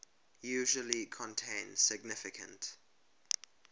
usually contain significant